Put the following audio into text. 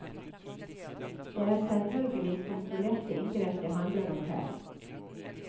Det er selvfølgelig kontrollerte inngrep det handler om her.